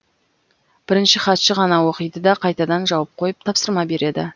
бірінші хатшы ғана оқиды да қайтадан жауып қойып тапсырма береді